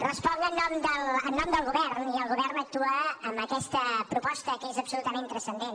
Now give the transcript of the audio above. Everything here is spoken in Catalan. responc en nom del govern i el govern actua amb aquesta proposta que és absolutament transcendent